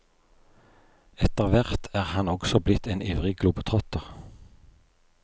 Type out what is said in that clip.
Etterhvert er han også blitt en ivrig globetrotter.